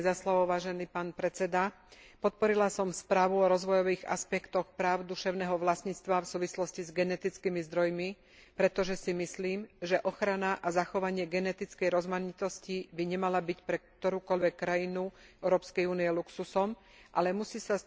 Podporila som správu o rozvojových aspektoch práv duševného vlastníctva v súvislosti s genetickými zdrojmi, pretože si myslím, že ochrana a zachovanie genetickej rozmanitosti by nemala byť pre ktorúkoľvek krajinu Európskej únie luxusom, ale musí sa stať súčasťou každej politiky.